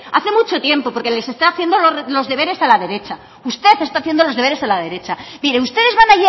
hace mucho tiempo porque les está haciendo los deberes a la derecha usted está haciendo los deberes a la derecha mire ustedes van